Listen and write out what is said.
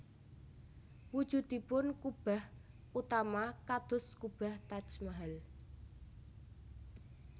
Wujudipun kubah utama kados kubah Taj Mahal